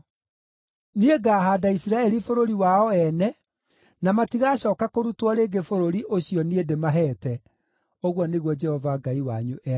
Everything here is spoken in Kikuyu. Niĩ ngaahaanda Isiraeli bũrũri wao ene, na matigacooka kũrutwo rĩngĩ bũrũri ũcio niĩ ndĩmaheete,” ũguo nĩguo Jehova Ngai wanyu ekuuga.